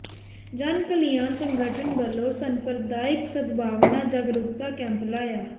ਜਨ ਕਲਿਯਾਨ ਸੰਗਠਨ ਵੱਲੋਂ ਸੰਪ੍ਰਦਾਇਕ ਸਦਭਾਵਨਾ ਜਾਗਰੂਕਤਾ ਕੈਂਪ ਲਾਇਆ